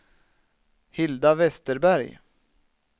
Hilda Westerberg